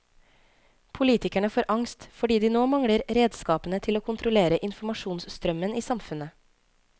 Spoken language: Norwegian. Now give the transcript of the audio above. Politikerne får angst, fordi de nå mangler redskapene til å kontrollere informasjonsstrømmen i samfunnet.